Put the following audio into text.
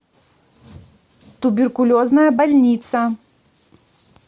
туберкулезная больница